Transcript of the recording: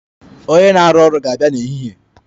Onye na-arụ ọrụ ga-abịa n'ehihie.